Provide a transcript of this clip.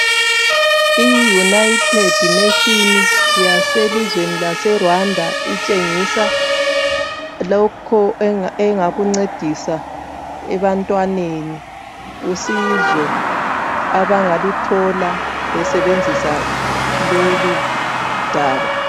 I United Nation yaselizweni laseRwanda itshengisa lokho enga engakuncedisa ebantwaneni, usizo abangaluthola besebenzisa loludaba.